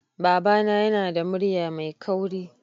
Babana yana da murya mai kauri